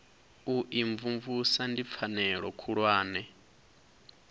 u imvumvusa ndi pfanelo khulwane